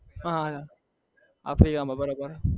અ africa કા માં બરાબર